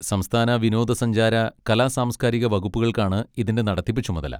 സംസ്ഥാന വിനോദസഞ്ചാര, കലാ സാംസ്കാരിക വകുപ്പുകൾക്കാണ് ഇതിന്റെ നടത്തിപ്പ് ചുമതല.